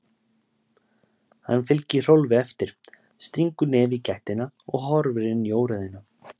Hann fylgir Hrólfi eftir, stingur nefi í gættina og horfir inn í óreiðuna.